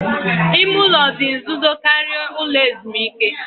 Ime ụlọ dị nzuzo karịa ụlọ ezumike